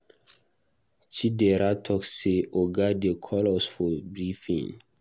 Chidera talk say Oga dey call us for briefing.